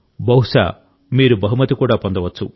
బహుశా మీరు బహుమతి కూడా పొందవచ్చు